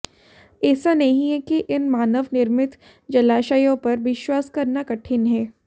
ऐसा नहीं है कि इन मानव निर्मित जलाशयों पर विश्वास करना कठिन है